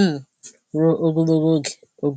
um ruo ogologo oge. ogologo oge.